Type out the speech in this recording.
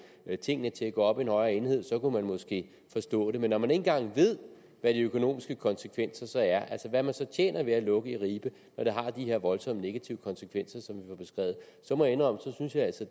tingene til at gå op i en højere enhed så kunne vi måske forstå det men når man ikke engang ved hvad de økonomiske konsekvenser er altså hvad man tjener ved at lukke i ribe og det har de her voldsomme negative konsekvenser som jo